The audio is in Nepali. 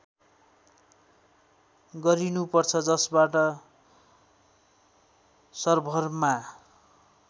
गरिनुपर्छ जसबाट सर्भरमा